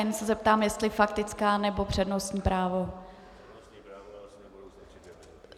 Jen se zeptám, jestli faktická, nebo přednostní právo.